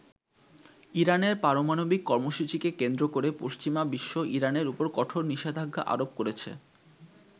ইরানের পারমাণবিক কর্মসূচিকে কেন্দ্র করে পশ্চিমা বিশ্ব ইরানের ওপর কঠোর নিষেধাজ্ঞা আরোপ করেছে।